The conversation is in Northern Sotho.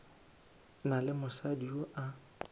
na le mosadi yo a